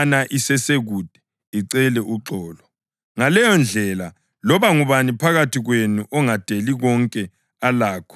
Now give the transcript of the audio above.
Ngaleyondlela, loba ngubani phakathi kwenu ongadeli konke alakho ngeke abe ngumfundi wami.